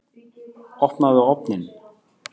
Opnaðu ofninn!